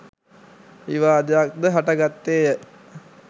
විවාදයක් ද හටගත්තේ ය.